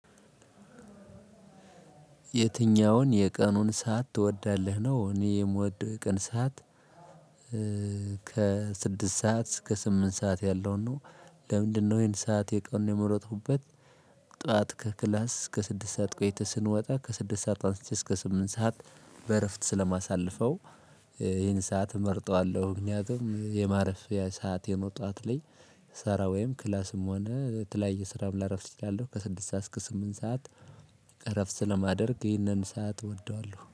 የትኛውን የቀኑን ሰዓት ትወዳለህ ነው እኔ የምወደው የቀን ሰዓት ከስድስት ሰዓት እስከ ስምንት ሰዓት ያለውን ነው። ለምንድነው ይሄን ሰዓት የቀኑ የመረጥኩበት? ጠዋት ከክላስ እስከ ስድስት ሰዓት ቆይተን ስንወጣ ከስድስት ሰዓት አንስቼ እስከ ስምንት ሰዓት በእረፍት ስለማሳልፈው ይህን ሰዓት እመርጠዋለሁ። ምክንያቱም የማረፍያ ሰዓቴ ነው። ጠዋት ላይ ስሰራ ወይም ክላስም ሆነ ተለያየ ስራም ላረፍድ እችላለሁ። ከስድስት ሰዓት እስከ ስምንት ሰዓት። እረፍት ስለማደርግ ይህንን ሰዓት እወደዋለሁ